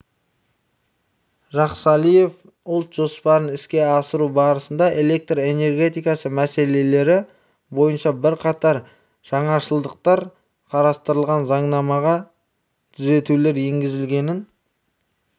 жақсалиев ұлт жоспарын іске асыру барысында электр энергетикасы мәселелері бойынша бірқатар жаңашылдықтар қарастырылған заңнамаға түзетулер енгізілгенін